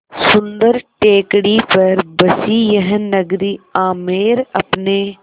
सुन्दर टेकड़ी पर बसी यह नगरी आमेर अपने